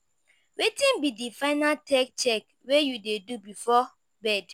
wetin be di final tech check wey you dey do before bed?